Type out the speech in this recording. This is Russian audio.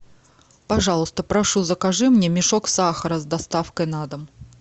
пожалуйста прошу закажи мне мешок сахара с доставкой на дом